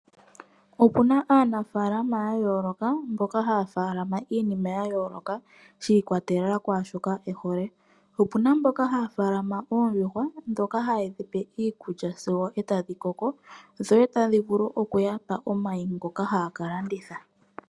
Okuna aanafaalama yayooloka mboka haya faalama iinima yayooloka shi ikwatelela kwaashoka ehole. Okuna mboka haya faalama oondjuhwa dhoka hayedhipe iikulya sigo etadhi koko sigo tadhivulu okuyapa omayi ngoka taya kalanditha.